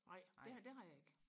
nej det det har jeg ikke